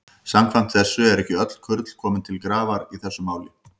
Samkvæmt þessu eru ekki öll kurl komin til grafar í þessu máli.